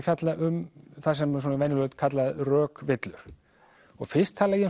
fjalla um það sem venjulega er kallað rökvillur fyrst tala ég